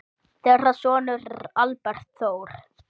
Þeirra sonur er Albert Þór.